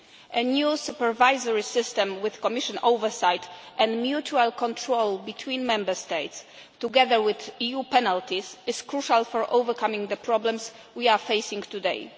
A new supervisory system with Commission oversight and mutual control between Member States, together with EU penalties, is crucial for overcoming the problems we are facing today.